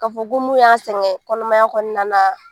K'a fɔ ko mun y'a sɛgɛn kɔnɔmaya kɔnɔna na